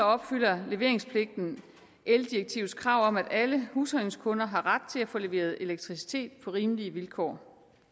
opfylder leveringspligten eldirektivets krav om at alle husholdningsskunder har ret til at få leveret elektricitet på rimelige vilkår